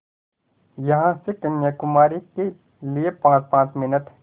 यहाँ से कन्याकुमारी के लिए पाँचपाँच मिनट